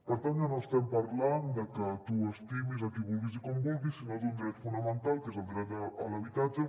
per tant ja no estem parlant de que tu estimis qui vulguis i com vulguis sinó d’un dret fonamental que és el dret a l’habitatge